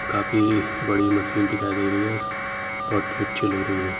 काफी बड़ी मशीन दिखाई दे रही है। इस बहुत ही अच्छी लग रही है।